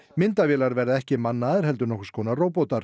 myndavélar verða ekki mannaðar heldur nokkurs konar